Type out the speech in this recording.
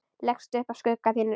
Leggst upp að skugga sínum.